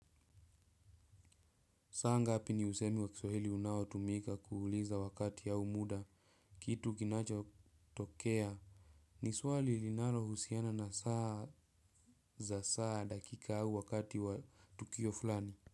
Saa ngapi ni usemi wa kiswahili unao tumika kuuliza wakati au muda kitu kinacho tokea. Ni swali linalo husiana na saa za saa dakika au wakati wa tukio fulani.